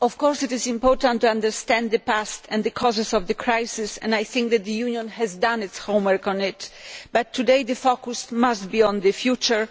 It is important to understand the past and the causes of the crisis, and I think the Union has done its homework on that, but today, the focus must be on the future.